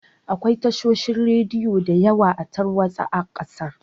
Akwai tashoshin radiyo diyawa a tarwatsa a ƙasar